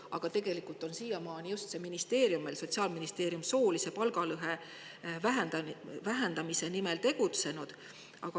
Aga siiamaani on just see ministeerium, Sotsiaalministeerium, meil soolise palgalõhe vähendamise nimel tegutsenud.